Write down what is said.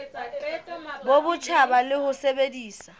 bo botjha le ho sebedisa